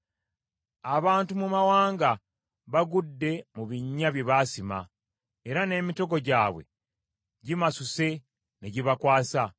Abantu mu mawanga bagudde mu binnya bye baasima; era n’emitego gyabwe gimasuse ne gibakwasa.